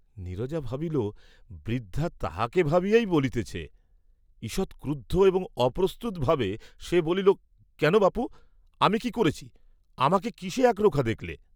নীরজা ভাবিল, বৃদ্ধা তাহাকে ভাবিয়াই বলিতেছে, ঈষৎ ক্রুদ্ধ, এবং অপ্রস্তুত ভাবে সে বলিল, কেন, বাপু, আমি কি করেছি, আমাকে কিসে এক রোখা দেখলে?